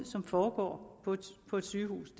som foregår på et sygehus